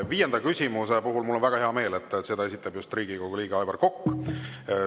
Viienda küsimuse puhul mul on väga hea meel, et selle esitab just Riigikogu liige Aivar Kokk.